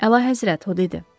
Əlahəzrət, o dedi.